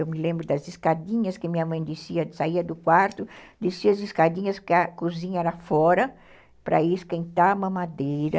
Eu me lembro das escadinhas que minha mãe descia, saía do quarto, descia as escadinhas porque a cozinha era fora para esquentar a mamadeira.